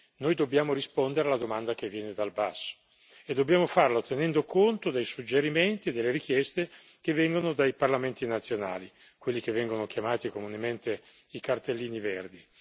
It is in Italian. Noi dobbiamo rispondere alla domanda che viene dal basso e dobbiamo farlo tenendo conto dei suggerimenti e delle richieste provenienti dai Parlamenti nazionali, quelli che vengono chiamati comunemente i cartellini verdi.